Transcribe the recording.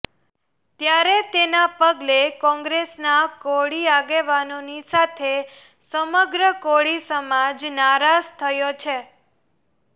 ત્યારે તેના પગલે કોંગ્રેસના કોળી આગેવાનોની સાથે સમગ્ર કોળી સમાજ નારાજ થયો છે